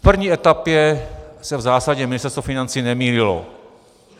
V první etapě se v zásadě Ministerstvo financí nemýlilo.